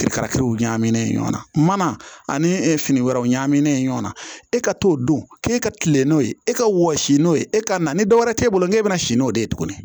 ɲagaminen ɲɔgɔn na mana fini wɛrɛw ɲaminen ɲɔgɔn na e ka t'o don k'e ka tile n'o ye e ka wɔsi n'o ye e ka na ni dɔwɛrɛ t'e bolo n'e bɛ na si n'o de ye tuguni